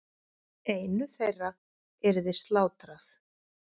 Einu þeirra yrði slátrað.